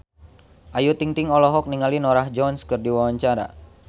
Ayu Ting-ting olohok ningali Norah Jones keur diwawancara